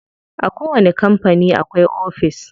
A kowani kampani akwai ofis.